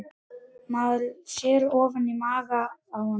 Maður sér ofan í maga á honum